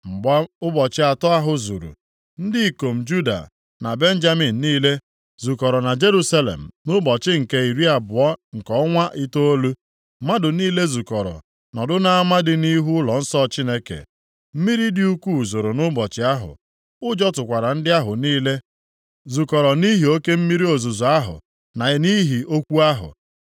Mgbe ụbọchị atọ ahụ zuru, ndị ikom Juda na Benjamin niile zukọrọ na Jerusalem. Nʼụbọchị nke iri abụọ nke ọnwa itoolu, mmadụ niile zukọrọ nọdụ nʼama dị nʼihu ụlọnsọ Chineke. Mmiri dị ukwuu zoro nʼụbọchị ahụ. Ụjọ tụkwara ndị ahụ niile zukọrọ nʼihi oke mmiri ozuzo ahụ na nʼihi okwu ahụ.